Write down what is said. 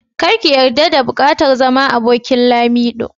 Kar ki yarda da bukatar zama abokin Lamido.